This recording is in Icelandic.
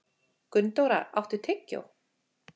Gunndóra, áttu tyggjó?